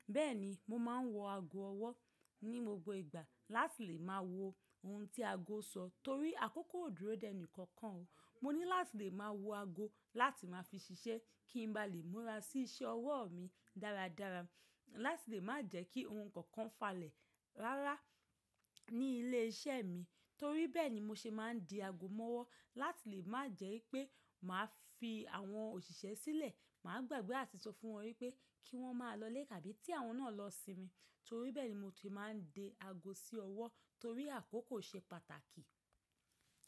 Bẹ́ẹ̀ni, mo máa ń wọ ago ọwọ́ ní gbogbo ìgbà láti lè máa wo ohun tí ago sọ torí àkókò ò dúró dẹ́ ẹni kankan. Mo ní láti lè máa wo ago láti máa fi ṣiṣẹ́ kí n ba lè múra sí iṣẹ́ ọwọ́ mi dáradára láti lè má jẹ́ kí ohun kankan falẹ̀ rárá ní ilé iṣẹ́ mi torí bẹ́ẹ̀ ni mo ṣe máa ń di ago mọ́wọ́ láti lè má jẹ́ pé màá fi àwọn òṣìṣẹ́ sílẹ̀. Màá gbàgbé àti sọ fún wọn wípé kí wọ́n máa lọlé àbí tí àwọn náà lọ sinmi torí bẹ́ẹ̀ ni mo ti máa ń di ago sí ọwọ́ torí àkókò ṣe pàtàkì.